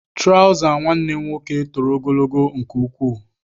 Traụza nwanne m nwoke toro ogologo nke ukwuu.